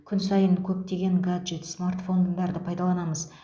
күн сайын көптеген гаджет смартфондарды пайдаланамыз